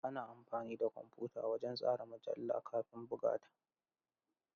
Ana amfani da kwamfuta wajen tsara mujallar kafin buga ta.